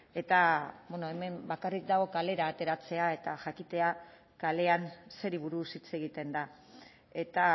eta hemen bakarrik dago kalera ateratzea eta jakitea kalean zeri buruz hitz egiten da eta